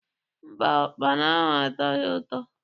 Mba, ụkpana ahụ atọghị ụtọ.